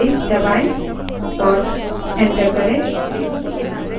अब सिर्फ पहली पाँच lines प्रदर्शित हुई हैं